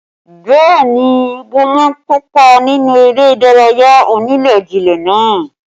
Bẹẹ ni, wọ́n má kópa nínú eré ìdárayá onílé-jilé náà